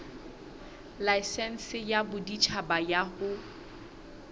laesense ya boditjhaba ya ho